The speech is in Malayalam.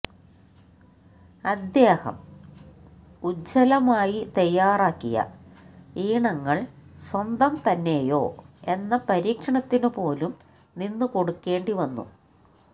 അദ്ദേഹം ഉജ്വലമായി തയാറാക്കിയ ഈണങ്ങള് സ്വന്തം തന്നെയോ എന്ന പരീക്ഷണത്തിനുപോലും നിന്നുകൊടുക്കേണ്ടി വന്നു